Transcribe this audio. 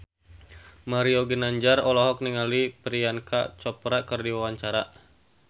Mario Ginanjar olohok ningali Priyanka Chopra keur diwawancara